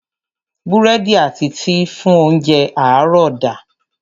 Búrẹ́dì àti tíì fún óńjẹ àárọ̀ da.